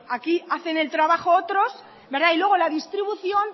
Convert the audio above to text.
aquí hacen el trabajo otros y luego la distribución